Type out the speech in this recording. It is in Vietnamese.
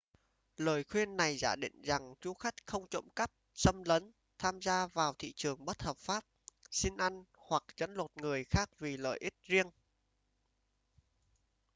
lời khuyên này giả định rằng du khách không trộm cắp xâm lấn tham gia vào thị trường bất hợp pháp xin ăn hoặc trấn lột người khác vì lợi ích riêng